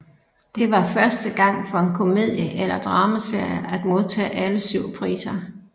Det var første gang for en komedie eller dramaserie at modtage alle syv priser